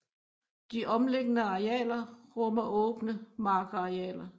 De omliggende arealer rummer åbne markarealer